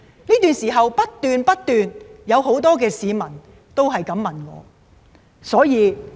這段時間不斷有很多市民向我問以上的問題。